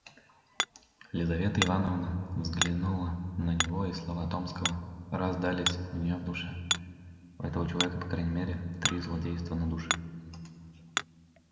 лизавета ивановна взглянула на него и слова томского раздались у неё в душе у этого человека по крайней мере три злодейства на душе